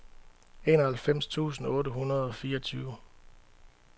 enoghalvfems tusind otte hundrede og fireogtyve